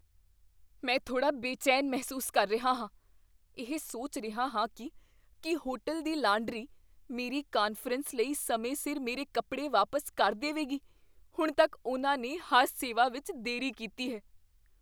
ਮੈਂ ਥੋੜਾ ਬੇਚੈਨ ਮਹਿਸੂਸ ਕਰ ਰਿਹਾ ਹਾਂ, ਇਹ ਸੋਚ ਰਿਹਾ ਹਾਂ ਕੀ ਕੀ ਹੋਟਲ ਦੀ ਲਾਂਡਰੀ ਮੇਰੀ ਕਾਨਫਰੰਸ ਲਈ ਸਮੇਂ ਸਿਰ ਮੇਰੇ ਕੱਪੜੇ ਵਾਪਸ ਕਰ ਦੇਵੇਗੀ। ਹੁਣ ਤੱਕ ਉਨ੍ਹਾਂ ਨੇ ਹਰ ਸੇਵਾ ਵਿੱਚ ਦੇਰੀ ਕੀਤੀ ਹੈ।